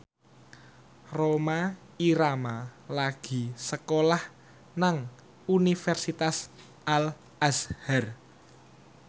Rhoma Irama lagi sekolah nang Universitas Al Azhar